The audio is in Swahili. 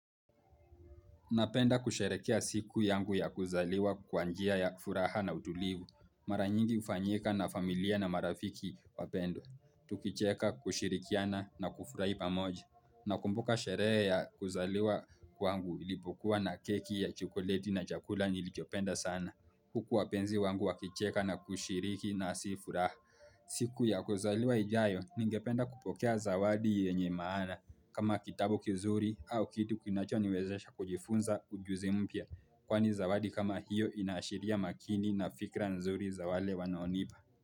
Napenda kusherekea siku yangu ya kuzaliwa kwa njia ya furaha na utulivu. Mara nyingi hufanyika na familia na marafiki wapendwa. Tukicheka kushirikiana na kufurahi pamoja. Nakumbuka sherehe ya kuzaliwa kwangu ilipokuwa na keki ya chokoleti na chakula nilichopenda sana. Huku wapenzi wangu wakicheka na kushiriki nasi furaha. Siku ya kuzaliwa ijayo ningependa kupokea zawadi yenye maana. Kama kitabu kizuri au kitu kinacho niwezesha kujifunza ujuzi mpya. Kwani zawadi kama hiyo inasheria makini na fikra nzuri zawale wanaonipa.